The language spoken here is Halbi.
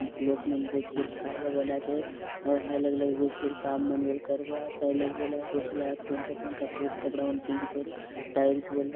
लोग मन बसिक्री खायबा बले आचेत आउर हाय- हाय लगे बसि करि काम मन बले करबाय आत हाय लगे बले बसलाय आत पंडरा- पंडरा कपड़ा मन पिंदी करि टाइल्स बले --